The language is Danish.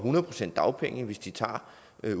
at